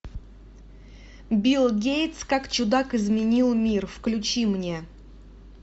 билл гейтс как чудак изменил мир включи мне